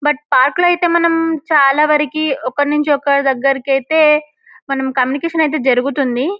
But park లో అయితే మనం చాలా వరకీ ఒకరినుంచి ఒకరిదగ్గరకైతే మనం కమ్యూనికేసన్ ఐతే జరుగుతుంది.